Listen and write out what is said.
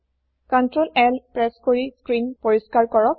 control L press কৰি screen পৰিস্কাৰ কৰক